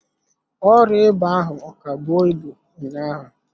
Ọrịa ịba ahụ ọ ka bụọ ibu ụnyaahụ?